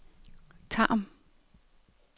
Tarm